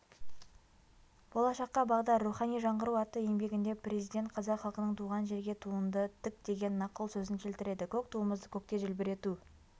болашаққа бағдар рухани жаңғыру атты еңбегінде президент қазақ халқының туған жерге туыңды тік деген нақыл сөзін келтіреді көк туымызды көкте желбірету